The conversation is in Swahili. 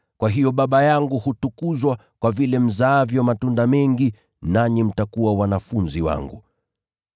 Kwa hiyo Baba yangu hutukuzwa, kwa vile mzaavyo matunda mengi, nanyi mtakuwa wanafunzi wangu.